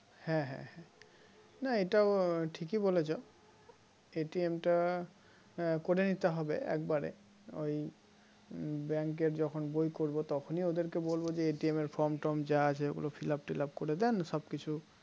না এটা ঠিকই বলেছ টা করে নিতে হবে একবারে ওই bank এর যখন বই করব তখনই ওদেরকে বলব যে এর form torm যা আছে ওগুলো fillup tilup করে দেন সবকিছু